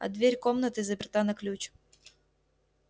а дверь комнаты заперта на ключ